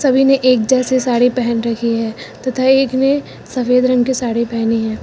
सभी ने एक जैसे साड़ी पहन रखी है तथा एक ने सफेद रंग के साड़ी पहनी है।